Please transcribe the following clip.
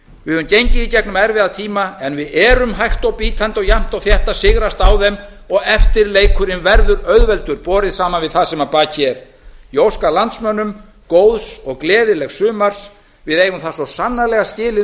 við höfum gengið í gegnum erfiða tíma en við erum hægt og bítandi og jafnt og þétt að sigrast á þeim og eftirleikurinn verður auðveldur borið saman við það sem að baki er ég óska landsmönnum góðs og gleðilegs sumars við eigum það svo sannarlega skilið